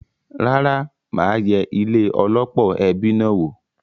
Rárá, mà á yẹ ilé -ọlọ́pọ̀ ẹbi náà wò.